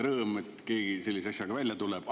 Rõõm, et keegi sellise asjaga välja tuleb.